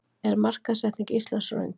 Er markaðssetning Íslands röng